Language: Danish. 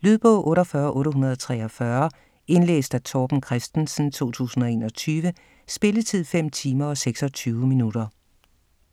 Lydbog 48843 Indlæst af Torben Christensen, 2021. Spilletid: 5 timer, 26 minutter.